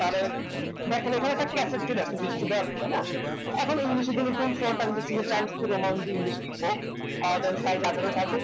তারের দেখেন এখানে একটা cassette চলে আসছে তাইনা এখন english এর জন্য তো amount দিয়ে english লিখবো